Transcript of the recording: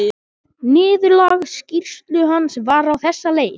Niðurlag skýrslu hans var á þessa leið